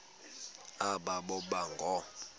aba boba ngoo